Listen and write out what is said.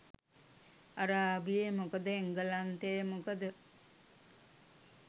අරාබියෙ මොකද එංගලන්තෙ මොකද